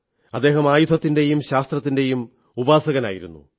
അദ്ദേഹം ആയുധത്തിന്റെയും ശാസ്ത്രത്തിന്റെയും ഉപാസകനായിരുന്നു